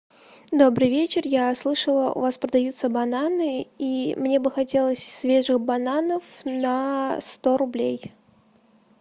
добрый вечер я слышала у вас продаются бананы и мне бы хотелось свежих бананов на сто рублей